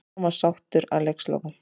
Hann var sáttur að leikslokum.